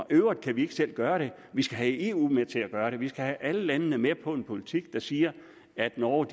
øvrigt kan vi ikke selv gøre det vi skal have eu med til at gøre det vi skal have alle landene med på en politik der siger at norge